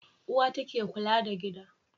Uwa ta ke kula da gida.